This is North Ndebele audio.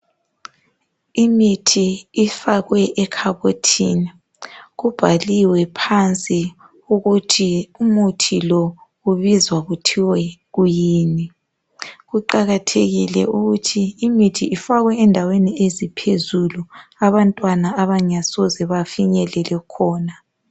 Imithi ifakwe elhabothini kubhaliwe phansi ukuthi umuthi lo ubizwa kuthwe kuyini kuqakathekile ukuthi imithi ifakwe endaweni eziphezulu abantwana abangasoze bafinyelele khona